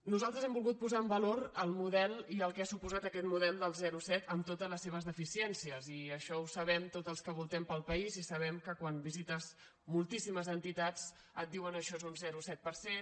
nosaltres hem volgut posar en valor el model i el que ha suposat aquest model del zero coma set amb totes les seves deficiències i això ho sabem tots els que voltem pel país i sabem que quan visites moltíssimes entitats et diuen això és un zero coma set per cent